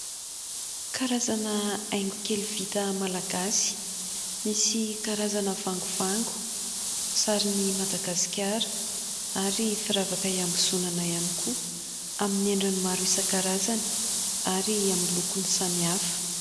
Karazana haingo kely vita malagasy misy karazana vangovango, sarin'i Madagasikara ary firavaka ihambozonana ihany koa amin'ny endriny maro isan-karazany ary amin'ny lokony samihafa.